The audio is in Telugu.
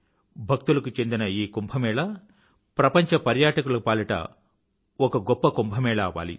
భక్తులకు చెందిన ఈ కుంభ్ ప్రపంచ పర్యాటికుల పాలిట గొప్ప కుంభ్ అవ్వాలి